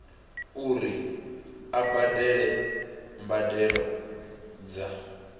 uri a badele mbadelo dza